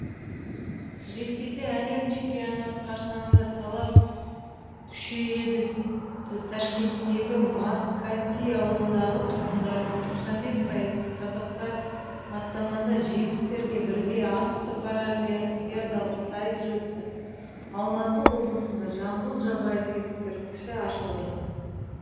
ресейде әлем чемпионаты қарсаңында талап күшейеді ташкенттегі марказий ауылындағы тұрғындардың тоқсан бес пайызы қазақтар астанада жеңістерге бірге атты паралимпиадалық сайыс өтті алматы облысында жамбыл жабаев ескерткіші ашылды